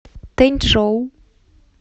тэнчжоу